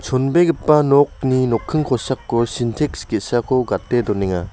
onbegipa nokni nokking kosako sinteks ge·sako gate donenga.